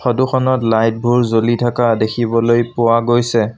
Photo খনত light বোৰ জ্বলি থকা দেখিবলৈ পোৱা গৈছে।